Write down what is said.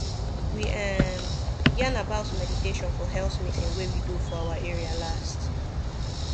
we um yarn about meditation for health meeting wey we do for our area last